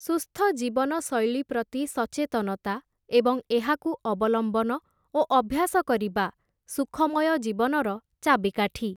ସୁସ୍ଥଜୀବନ ଶୈଳୀପ୍ରତି ସଚେତନତା ଏବଂ ଏହାକୁ ଅବଲମ୍ବନ ଓ ଅଭ୍ୟାସ କରିବା, ସୁଖମୟ ଜୀବନର ଚାବିକାଠି ।